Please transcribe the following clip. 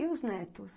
E os netos?